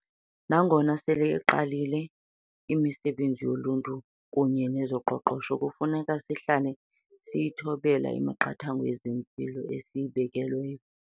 Nangona sele iqalile imisebenzi yoluntu kunye neyezoqoqosho, kufuneka sihlale siyithobela imiqathango yezempilo esiyibekelweyo.